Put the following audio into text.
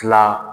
Tila